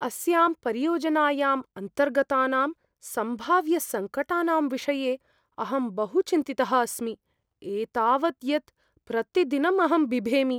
अस्यां परियोजनायाम् अन्तर्गतानां सम्भाव्यसङ्कटानां विषये अहं बहु चिन्तितः अस्मि, एतावत् यत् प्रतिदिनं अहं बिभेमि।